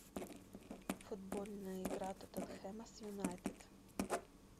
футбольная игра тоттенхэма с юнайтед